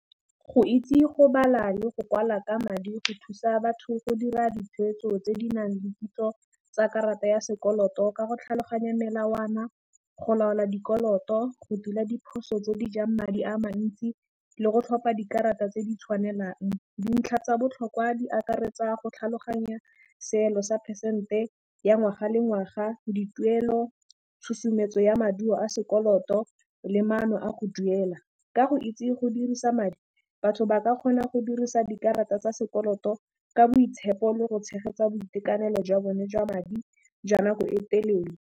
Go itse go bala le go kwala ka madi go thusa batho go dira ditshwetso tse di nang le kitso tsa karata ya sekoloto ka go tlhaloganya melawana, go laola dikoloto, go tila diphoso tse di jang madi a mantsi le go tlhopha dikarata tse di tshwanelang. Dintlha tsa botlhokwa di akaretsa go tlhaloganya seelo sa phesente ya ngwaga le ngwaga, dituelo, tshosometso ya maduo a sekoloto le maano a go duela, ka go itse go dirisa madi batho ba ka kgona go dirisa dikarata tsa sekoloto ka boitshepo le go tshegetsa boitekanelo jwa bone jwa madi jwa nako e telele.